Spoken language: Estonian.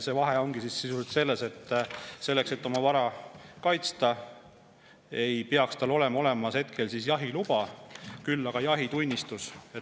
Vahe ongi sisuliselt selles, et selleks et oma vara kaitsta, ei peaks tal olema tol hetkel jahiluba, küll aga jahitunnistus.